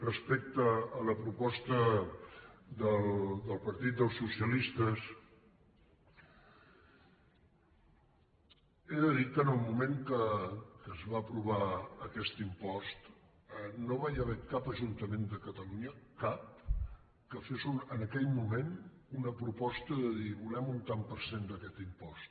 respecte a la proposta del partit dels socialistes he de dir que en el moment que es va aprovar aquest impost no hi va haver cap ajuntament de catalunya cap que fes en aquell moment una proposta de dir volem un tant per cent d’aquest impost